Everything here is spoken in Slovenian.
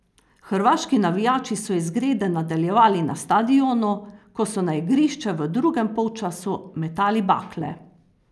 Hrvaški navijači so izgrede nadaljevali na stadionu, ko so na igrišče v drugem polčasu metali bakle.